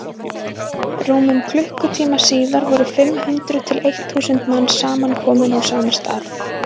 rúmum klukkutíma síðar voru fimm hundruð til eitt þúsund manns samankomin á sama stað